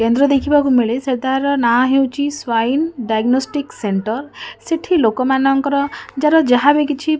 କେନ୍ଦ୍ର ଦେଖିବାକୁ ମିଳେ ସେ ତାର ନାଁ ହେଉଚି ସ୍ବାଇନ୍ ଡାଇଗ୍ନୋଷ୍ଟିକ୍ ସେଣ୍ଟର୍ । ସେଠି ଲୋକମାନଙ୍କର ଯାହାର ଯାହାବି କିଛି --